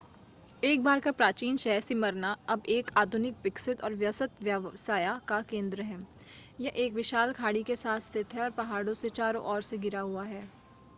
एक बार का प्राचीन शहर स्मिर्ना अब एक आधुनिक विकसित और व्यस्त व्यवस्या का केन्द्र है यह एक विशाल खाड़ी के साथ स्थित है और पहाड़ों से चारो ओर से घिरा हुआ है